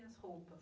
E as roupas?